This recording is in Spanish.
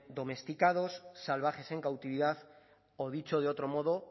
domesticados salvajes en cautividad o dicho de otro modo